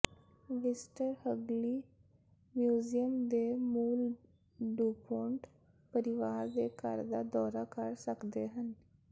visitor Hagley museum ਦੇ ਮੂਲ DuPont ਪਰਿਵਾਰ ਦੇ ਘਰ ਦਾ ਦੌਰਾ ਕਰ ਸਕਦੇ ਹਨ